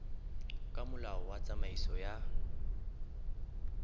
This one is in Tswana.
ka molao wa tsamaiso ya